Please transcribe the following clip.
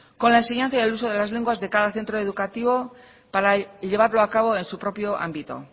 con la enseñanza y el uso de las lenguas de cada centro educativo para llevarlo a cabo en su propio ámbito